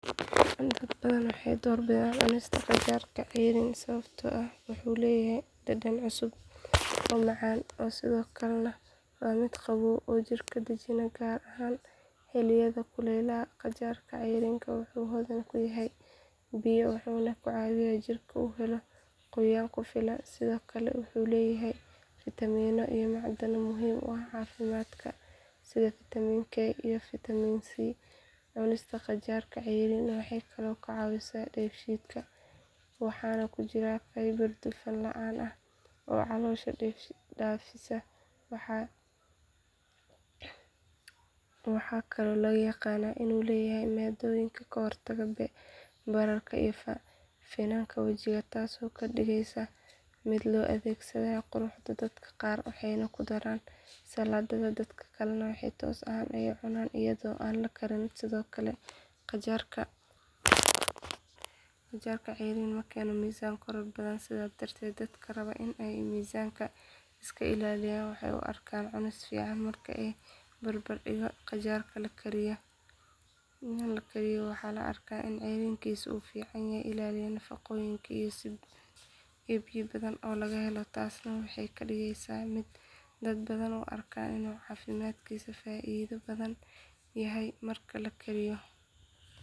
Dad badan waxay door bidaan cunista qajaarka cayriin sababtoo ah wuxuu leeyahay dhadhan cusub oo macaan ah sidoo kalena waa mid qabow oo jidhka dejinaya gaar ahaan xilliyada kulaylaha qajaarka cayriin wuxuu hodan ku yahay biyo wuxuuna caawiyaa in jirka uu helo qoyaan ku filan sidoo kale wuxuu leeyahay fiitamiinno iyo macdano muhiim u ah caafimaadka sida fiitamiin k iyo fiitamiin c cunista qajaarka cayriin waxay kaloo ka caawisaa dheefshiidka waxaana ku jira fiber dufan la’aan ah oo caloosha nadiifisa waxaa kaloo lagu yaqaan inuu leeyahay maaddooyin ka hortaga bararka iyo finanka wajiga taasoo ka dhigaysa mid loo adeegsado quruxda dadka qaar waxay ku daraan saladhka dadka kalena si toos ah ayay u cunaan iyadoo aan la karin sidoo kale qajaarka cayriin ma keeno miisaan korodh badan sidaa darteed dadka rabaan in ay miisaanka iska ilaaliyaan waxay u arkaan cunis fiican marka la barbardhigo qajaarka la kariyay waxaa la arkaa in cayriinkiisa uu si fiican u ilaaliyo nafaqooyinkiisa iyo biyo badan oo laga helo taasna waxay ka dhigaysaa mid dad badan u arkaan inuu caafimaadkiisa ka faa’iido badan yahay marka la kariyo.